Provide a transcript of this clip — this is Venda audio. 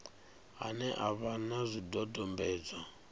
ane a vha na zwidodombedzwa